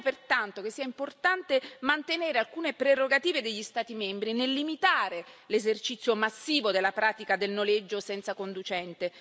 Riteniamo pertanto che sia importante mantenere alcune prerogative degli Stati membri nel limitare l'esercizio massivo della pratica del noleggio senza conducente